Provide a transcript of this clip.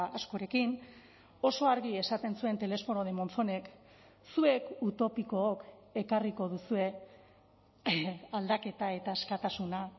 askorekin oso argi esaten zuen telesforo de monzonek zuek utopikook ekarriko duzue aldaketa eta askatasuna